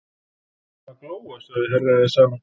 Hann er farinn að glóa, sagði Herra Ezana.